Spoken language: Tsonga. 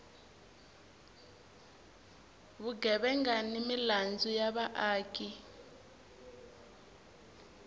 vugevenga ni milandzu ya vaaki